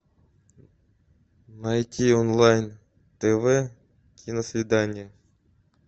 найти онлайн тв киносвидание